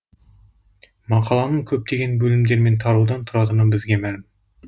мақаланың көптеген бөлімдер мен тараудан тұратыны бізге мәлім